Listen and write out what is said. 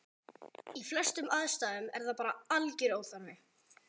í flestum aðstæðum er það bara algjör óþarfi